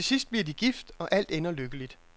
Til sidst bliver de gift, og alt ender lykkeligt.